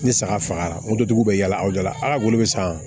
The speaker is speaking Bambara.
Ni saga fagara moto tigiw bɛ yala a da la ala bolo bɛ san